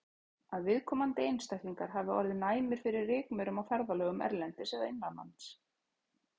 Að viðkomandi einstaklingar hafi orðið næmir fyrir rykmaurum á ferðalögum erlendis eða innanlands.